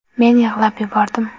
Men yig‘lab yubordim.